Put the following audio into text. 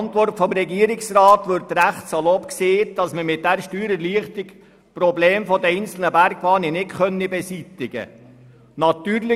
In der Regierungsantwort wird recht salopp gesagt, dass man die Probleme der einzelnen Bergbahnen mit dieser Steuererleichterung nicht beseitigen könne.